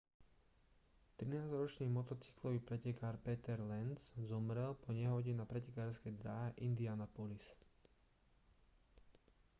trinásťročný motocyklový pretekár peter lenz zomrel po nehode na pretekárskej dráhe indianapolis